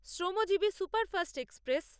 শ্রমজীবী superfast express